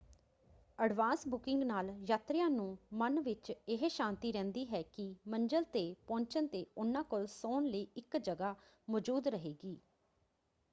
Advance booking ਨਾਲ ਯਾਤਰੀਆਂ ਨੂੰ ਮਨ ਵਿੱਚ ਇਹ ਸ਼ਾਂਤੀ ਰਹਿੰਦੀ ਹੈ ਕਿ ਮੰਜ਼ਲ ‘ਤੇ ਪਹੁੰਚਣ ‘ਤੇ ਉਹਨਾਂ ਕੋਲ ਸੌਣ ਲਈ ਇੱਕ ਜਗ੍ਹਾ ਮੌਜੂਦ ਰਹੇਗੀ।